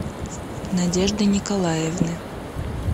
надежды николаевны